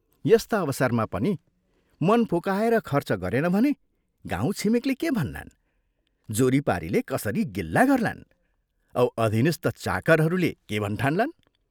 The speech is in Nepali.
यस्ता अवसरमा पनि मन फुकाएर खर्च गरेन भने गाउँ छिमेकले के भन्लान्, जोरीपारीले कसरी गिल्ला गर्लान् औ अधीनस्थ चाकरहरूले के भन्ठान्लान्?